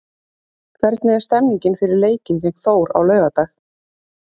Hvernig er stemningin fyrir leikinn gegn Þór á laugardag?